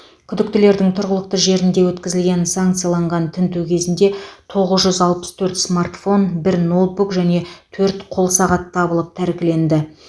күдіктілердің тұрғылықты жерінде өткізілген санкцияланған тінту кезінде тоғыз жүз алпыс төрт смартфон бір ноутбук және төрт қол сағат табылып тәркіленді